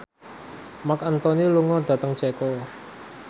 Marc Anthony lunga dhateng Ceko